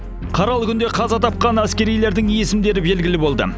қаралы күнде қаза тапқан әскерилердің есімдері белгілі болды